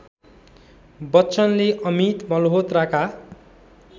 बच्चनले अमित मल्‍होत्राका